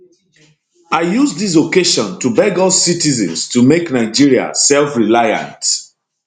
i use dis occasion to beg all citizens to make nigeria selfreliant